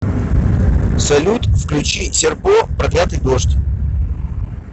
салют включи серпо проклятый дождь